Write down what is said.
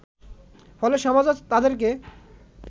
ফলে সমাজও তাদেরকে